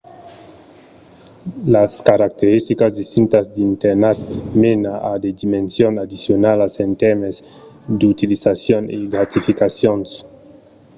las caracteristicas distintas d'internat mena a de dimensions addicionalas en tèrmes d'utilizacions e gratificacions